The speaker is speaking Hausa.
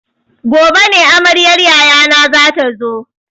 Gobe ne amaryar yayana zata zo.